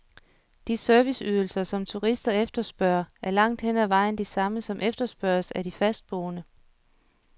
De serviceydelser, som turister efterspørger, er langt hen ad vejen de samme, som efterspørges af de fastboende.